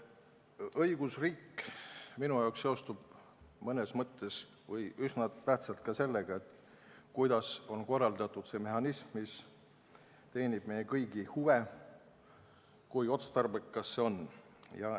Õigusriik seostub minu jaoks mõnes mõttes – või üsna tähtsalt – ka sellega, kuidas on korraldatud see mehhanism, mis teenib meie kõigi huve, ja kui otstarbekas see on.